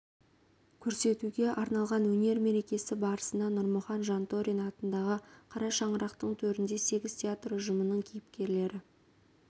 көрсетуге арналған өнер мерекесі барысында нұрмұхан жантөрин атындағы қара шаңырақтың төрінде сегіз театр ұжымының кейіпкерлері